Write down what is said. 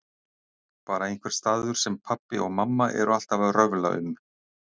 Bara einhver staður sem pabbi og mamma eru alltaf að röfla um.